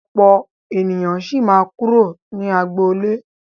Ọ̀pọ̀ ènìyàn sì máa kúrò ní agboolé.